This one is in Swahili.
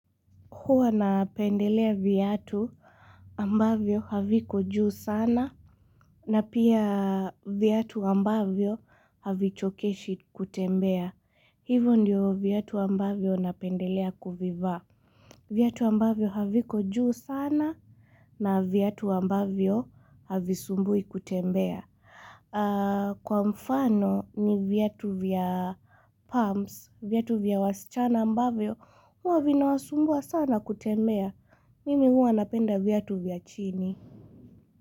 Huwa napendelea viatu ambavyo haviko juu sana na pia viatu ambavyo havichokeshi kutembea. Hivyo ndio viatu ambavyo napendelea kuvivaa. Viatu ambavyo haviko juu sana na viatu ambavyo havisumbui kutembea. Kwa mfano ni viatu vya pams, viatu vya wasichana ambavyo huwa vinawasumbua sana kutembea. Mimi huwa anapenda viatu vya chini.